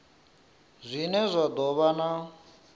zwine zwa do vha na